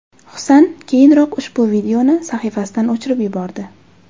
Husan keyinroq ushbu videoni sahifasidan o‘chirib yubordi.